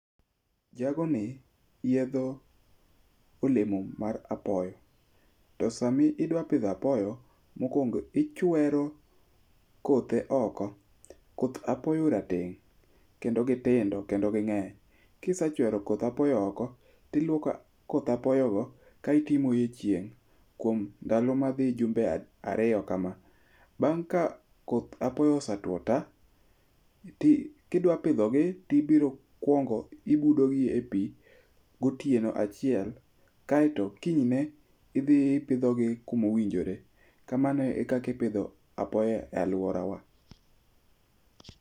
Jagoni yiedho olemo mar apoyo. To sama idwa pidho apoyo, mokuongo ichwero kothe oko. Koth apoyo rateng' kendo gitindo kendo ging'eny. Kisechwero koth apoyo oko, to iluoko koth apoyo go kaeto imoyo e chieng' kuom ndalo madhi jumbe ariyo kama. Bang' ka koth apoyo osetwo ta to kidwa pidhogi to ibiro kuongo ibudo gi epi gotieno achiel, kaeto kiny ne idhi ipidho gi kumo winjore. Kamano e kaka ipidho apoyo e aluorawa.